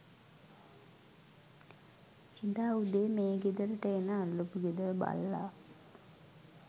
එදා උදේ මේ ගෙදරට එන අල්ලපු ගෙදර බල්ලා